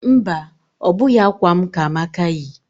Mba, ọ bụghị akwa m ka Amaka yi